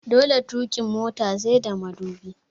Dole tukin mota sai da mudubi